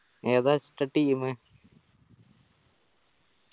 ഏതാ ഒറ്റ team